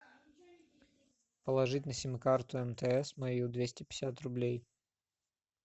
положить на сим карту мтс мою двести пятьдесят рублей